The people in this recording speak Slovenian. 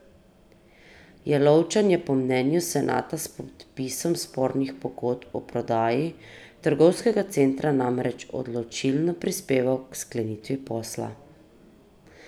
Jelovčan je po mnenju senata s podpisom spornih pogodb o prodaji trgovskega centra namreč odločilno prispeval k sklenitvi posla.